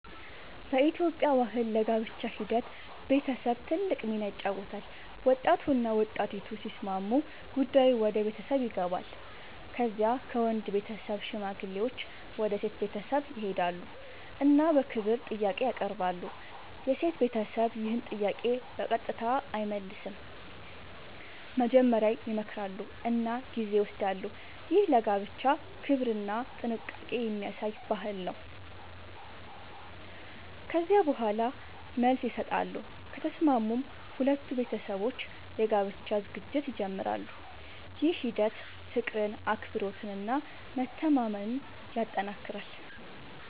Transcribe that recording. በኢትዮጵያ ባህል ለጋብቻ ሂደት ቤተሰብ ትልቅ ሚና ይጫወታል። ወጣቱና ወጣቲቱ ሲስማሙ ጉዳዩ ወደ ቤተሰብ ይገባል። ከዚያ ከወንድ ቤተሰብ ሽማግሌዎች ወደ ሴት ቤተሰብ ይሄዳሉ እና በክብር ጥያቄ ያቀርባሉ። የሴት ቤተሰብ ይህን ጥያቄ በቀጥታ አይመልስም፤ መጀመሪያ ይመክራሉ እና ጊዜ ይወስዳሉ። ይህ ለጋብቻ ክብርና ጥንቃቄ የሚያሳይ ባህል ነው። ከዚያ በኋላ መልስ ይሰጣሉ፤ ከተስማሙም ሁለቱ ቤተሰቦች የጋብቻ ዝግጅት ይጀምራሉ። ይህ ሂደት ፍቅርን፣ አክብሮትን እና መተማመንን ያጠናክራል።